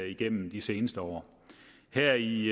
i igennem de seneste år her i